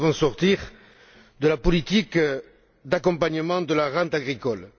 Nous devons sortir de la politique d'accompagnement de la rente agricole.